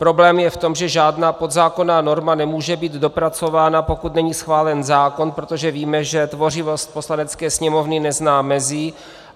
Problém je v tom, že žádná podzákonná norma nemůže být dopracována, pokud není schválen zákon, protože víme, že tvořivost Poslanecké sněmovny nezná mezí.